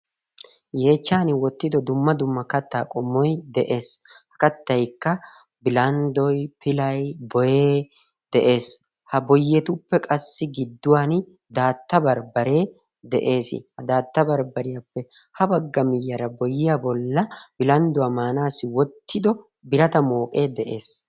yeechchan wottido dumma dumma kattaa qommoy de'ees ha kattaykka bilanddoy pilay boyee de'ees ha boyetuppe qassi gidduwan daatta barbbaree de'ees ha daatta barbbariyaappe ha bagga miyyaara boyiya bolla bilandduwaa maanaassi wottido birata mooqee de'ees